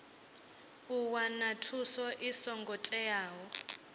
u wana thuso i songo teaho